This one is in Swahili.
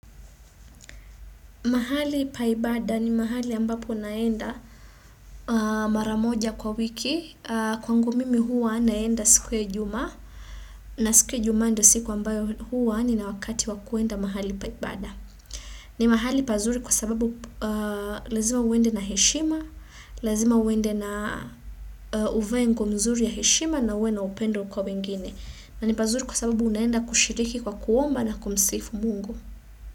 Mahali paibada ni mahali ambapo naenda maramoja kwa wiki, kwangu mimi huwa naenda siku ya juma, na siku ya juma ndo siku ambayo huwa ni na wakati wakuenda mahali paibada. Ni mahali pazuri kwa sababu lazima uende na heshima, lazima uende na uvae nguo mzuri ya heshima na uwe na upendo kwa wengine. Na ni pazuri kwa sababu unaenda kushiriki kwa kuomba na kumsifu mungu.